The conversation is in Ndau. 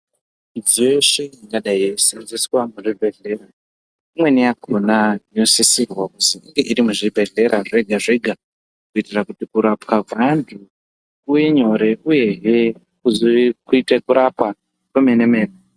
Midziyo yeshe ingadai yeiseenzeswa muzvibhedhleya imweni yakona yosisirwa kuti iri muzvibhedhleya zvega zvega kuitira kuti kurapwa kweantu kuve nyore uyehe kuzoite kurapwa kwemene mene.